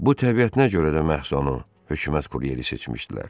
Bu təbiətinə görə də məhz onu hökumət kuryeri seçmişdilər.